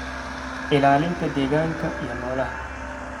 ilaalinta deegaanka iyo noolaha.